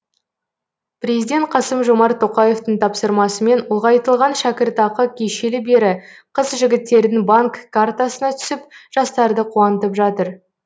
президент қасым жомарт тоқаевтың тапсырмасымен ұлғайтылған шәкіртақы кешелі бері қыз жігіттердің банк картасына түсіп жастарды қуантып жатыр